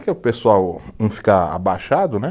Que o pessoal, um fica abaixado, né?